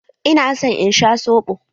Ina son in sha soɓo.